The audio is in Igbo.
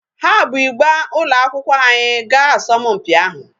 Ha bu ịgba ụlọakwụkwọ anyị gaa asọmpi ahụ.